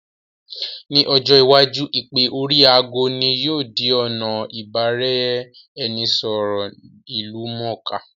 Ní ojọ́ iwájú, Ìpè oríi aago ní yóò di ọ̀nà ìbá-ra-ẹnì- sọ̀rọ̀ ìlú mọ̀ọ́ká